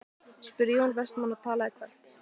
spurði Jón Vestmann og talaði hvellt.